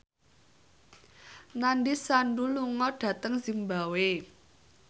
Nandish Sandhu lunga dhateng zimbabwe